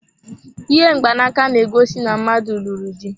Ihe mgbanaka na-egosi na mmadụ lụrụ dị.